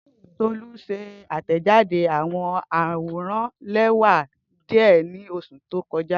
Tolu ṣe atẹjade awọn aworan lẹwa diẹ ni oṣu to kọja.